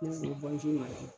N'ole ye bɔnjuru madamu